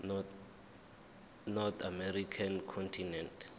north american continent